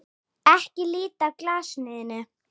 Ekki líta af glasinu þínu.